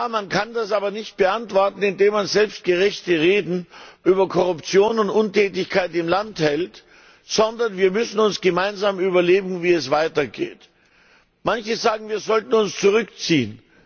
Man kann das aber nicht beantworten, indem man selbstgerechte Reden über Korruption und Untätigkeit im Land hält, sondern wir müssen uns gemeinsam überlegen, wie es weitergeht. Manche sagen, wir sollten uns zurückziehen.